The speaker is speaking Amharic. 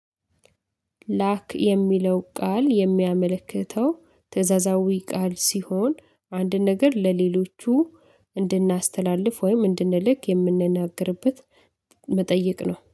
ላክ የሚለው ቃል የሚያመለክተው ትእዛዛዊ ቃል ሲሆን አንድ ነገር ለሌሎቹ እንድናስተላልፍ ወይም እንድንልክ የምንናገርበት መጠየቅ ነው